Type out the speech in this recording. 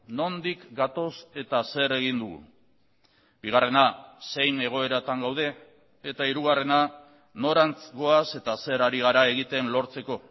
nondik gatoz eta zer egin dugu bigarrena zein egoeratan gaude eta hirugarrena norantz goaz eta zer hari gara egiten lortzeko